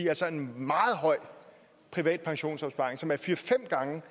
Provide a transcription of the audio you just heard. altså en meget høj privat pensionsopsparing som er fire fem gange